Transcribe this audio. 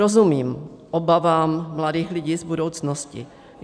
Rozumím obavám mladých lidí z budoucnosti.